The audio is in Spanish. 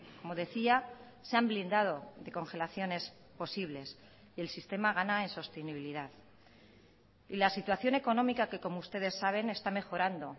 como decía se han blindado de congelaciones posibles y el sistema gana en sostenibilidad y la situación económica que como ustedes saben está mejorando